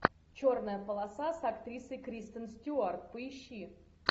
черная полоса с актрисой кристен стюарт поищи